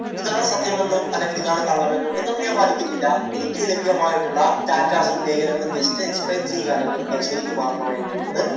ഇതാണ് സത്യം എന്നോ അല്ലെങ്കിൽ ഇതാണ് കള്ളം എന്നോ എന്നൊന്നും ഞാൻ വാദിക്കുന്നില്ല. എനിക്ക് ലഭ്യമായിട്ടുള്ള datas ഉം ലേഖനങ്ങളും just explain ചെയ്യുക അല്ലെങ്കിൽ പരിശോധിക്കുക മാത്രമാണ് ഞാൻ ചെയ്യുന്നത്.